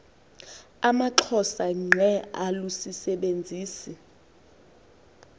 amaxhosa ngqe alusisebenzisi